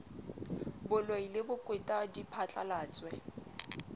boloi le bokweta di phatlalatswe